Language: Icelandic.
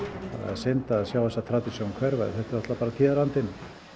synd að sjá þessa tradisjón hverfa en þetta er náttúrulega bara tíðarandinn